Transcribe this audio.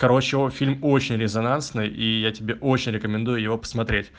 короче он фильм очень резонансный и я тебе очень рекомендую его посмотреть